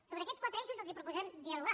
sobre aquests quatre eixos els proposem dialogar